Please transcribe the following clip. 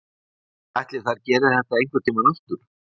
En ætli þær geri þetta einhvern tímann aftur?